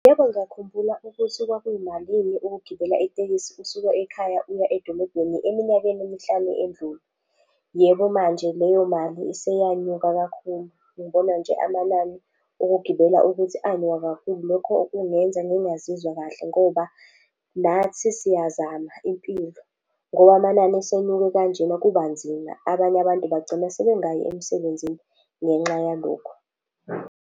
Yebo, ngiyakhumbula ukuthi kwakuyimalini ukugibela itekisi usuka ekhaya uya edolobheni eminyakeni emihlanu endlule. Yebo, manje leyo mali iseyanyuka kakhulu. Ngibona nje amanani okugibela ukuthi anyuka kakhulu. Lokho kungenza ngingazizwa kahle ngoba nathi siyazama impilo ngoba amanani esenyuke kanjena kuba nzima. Abanye abantu bagcina sebengayi emsebenzini ngenxa yalokho.